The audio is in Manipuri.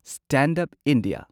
stand up India